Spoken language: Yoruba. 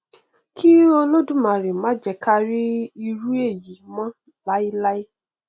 kí olódùmarè má jẹ káa rí irú èyí mọ láíláí